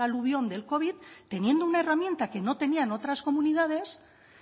aluvión del covid teniendo una herramienta que no tenían otras comunidades